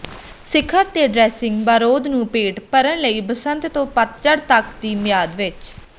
ਸਿਖਰ ਤੇ ਡ੍ਰੈਸਿੰਗ ਬਾਰਰੋਦ ਨੂੰ ਪੇਟ ਭਰਨ ਲਈ ਬਸੰਤ ਤੋਂ ਪਤਝੜ ਤੱਕ ਦੀ ਮਿਆਦ ਵਿੱਚ